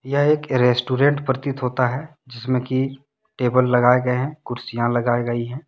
यह एक इरेस्टोरेंट प्रतीत होता है। जिसमें की टेबल लगाए गए हैं कुर्सियां लगाई गई है।